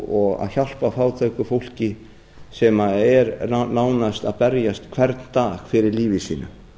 og að hjálpa fátæku fólki sem er nánast að berjast hvern dag fyrir lífi sínu